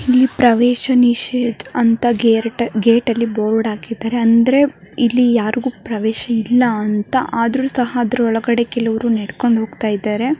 ಇಲ್ಲಿ ಪ್ರವೇಶ ನೀಷೆದ್ ಅಂತ ಗ್ರೇಟ್ ಗೇಟ್ ಅಲ್ಲಿ ಬೋರ್ಡ್ ಆಕಿದರೆ. ಅಂದರೆ ಇಲ್ಲಿ ಯಾರಿಗೂ ಪ್ರವೇಶ ಇಲ್ಲ ಅಂತ ಆದ್ರೂ ಸಹ ಅದ್ರು ಒಳಗಡೆ ಕೆಲವರು ನೆಡುಕೊಂಡು ಓಗ್ತಾಯಿದರೆ.